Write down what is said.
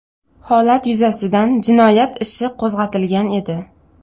Holat yuzasidan jinoyat ishi qo‘zg‘atilgan edi.